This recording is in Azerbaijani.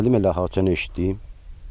İşdən gəldim elə ah-tənha eşitdim.